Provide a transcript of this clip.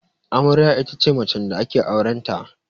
Amarya ita ce macen da ake auren ta